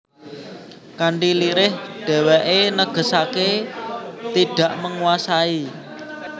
Kanthi lirih dheweke negesake tidak menguasai